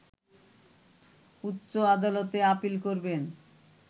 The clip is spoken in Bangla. উচ্চ আদালতে আপিল করবেন